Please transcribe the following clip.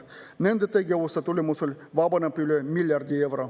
Nende tegevuste tulemusel vabaneks üle 1 miljardi euro.